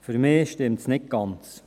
Für mich stimmt es nicht ganz: